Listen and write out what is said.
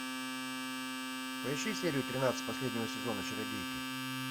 поищи серию тринадцать последнего сезона чародейки